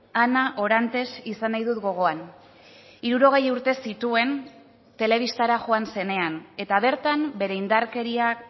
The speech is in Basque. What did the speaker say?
ana orantes izan nahi dut gogoan hirurogei urte zituen telebistara joan zenean eta bertan bere indarkeriak